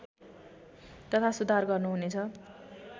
तथा सुधार गर्नुहुनेछ